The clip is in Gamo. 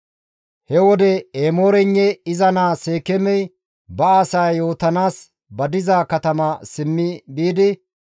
He wode Emooreynne iza naa Seekeemey ba asaas yootanaas ba diza katama simmi biidi,